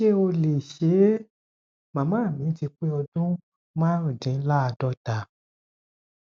ṣé ó lè ṣe é màmá mi ti pé ọdún márùndínláàádọta